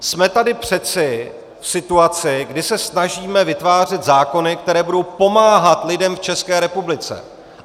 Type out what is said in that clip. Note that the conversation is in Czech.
Jsme tady přeci v situaci, kdy se snažíme vytvářet zákony, které budou pomáhat lidem v České republice.